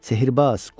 Sehirbaz!